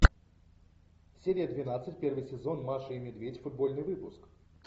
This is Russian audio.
серия двенадцать первый сезон маша и медведь футбольный выпуск